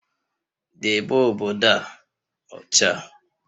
Debe obodo a ọcha!